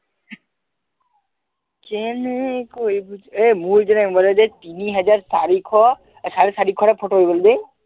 কেনেকৈ বুজাও এই মোৰ যে mobile যে তিনিহাজাৰ চাৰিশ এ চাৰেচৰিশ photo হৈ গল বে